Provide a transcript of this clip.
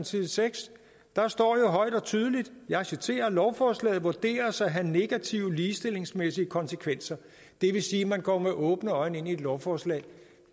side seks står højt og tydeligt og jeg citerer lovforslaget vurderes at have negative ligestillingsmæssige konsekvenser det vil sige at man går med åbne øjne ind i et lovforslag